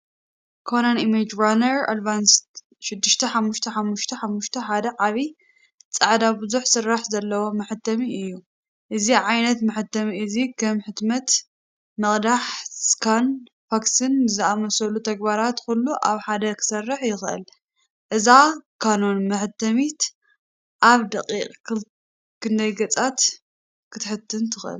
Canon imageRUNNER ADVANCE 6555i ዓቢይ ጻዕዳ ብዙሕ ስራሕ ዘለዎ መሕተሚ እዩ። እዚ ዓይነት መሕተሚ እዚ ከም ሕትመት፣ ምቕዳሕ፣ ስካንን ፋክስን ዝኣመሰሉ ተግባራት ኩሉ ኣብ ሓደ ክሰርሕ ይኽእል። እዛ ካኖን መሕተሚት ኣብ ደቒቕ ክንደይ ገጻት ክትሕትም ትኽእል?